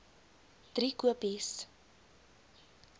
driekopies